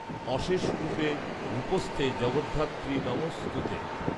অশেষ রূপে রূপস্থে জগদ্ধাত্রি নমোঽস্তু তে॥